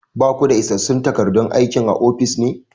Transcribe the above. Ba ku da isassun takardun aikin a ofis ne?